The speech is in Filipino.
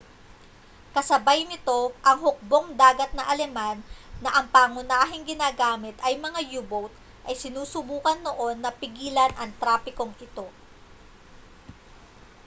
kasabay nito ang hukbong-dagat na aleman na ang pangunahing ginagamit ay mga u-boat ay sinusubukan noon na pigilan ang trapikong ito